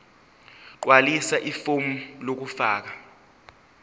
gqwalisa ifomu lokufaka